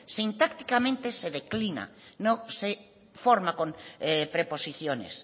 sintácticamente se declina no se forma con preposiciones